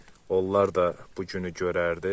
Onlar da bu günü görərdi.